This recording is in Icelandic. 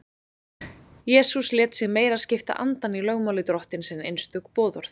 jesús lét sig meira skipta andann í lögmáli drottins en einstök boðorð